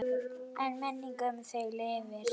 En minning um þig lifir.